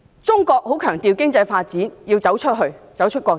中國很強調經濟發展，要走出國際。